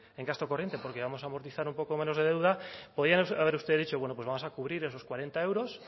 en gasto corriente porque íbamos a amortizar un poco menos de deuda podía haber usted dicho bueno pues vamos a cubrir esos cuarenta euros